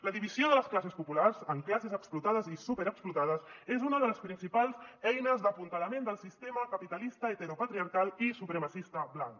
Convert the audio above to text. la divisió de les classes populars en classes explotades i superexplotades és una de les principals eines d’apuntalament del sistema capitalista heteropatriarcal i supremacista blanc